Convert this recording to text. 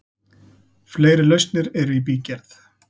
Fleiri lausnir eru í bígerð.